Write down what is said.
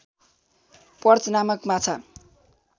perch नामक माछा